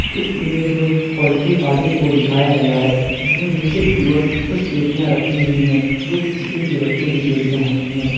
इस इमेज़ में poultry farming को दिखाया गया है जिसमें नीचे की ओर कुछ पेटियां रखी हुई हैं जो कि चिकन के बच्चों की पेटियां होती हैं।